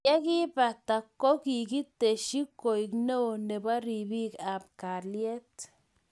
yekiipata kokikiteshi koek neo nebo ripik ab kalyet